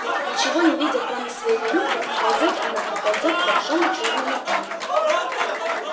ничего не видя кроме своей клюквы ползёт она и ползёт к большому чёрному пню